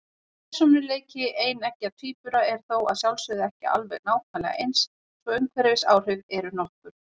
Persónuleiki eineggja tvíbura er þó að sjálfsögðu ekki alveg nákvæmlega eins, svo umhverfisáhrif eru nokkur.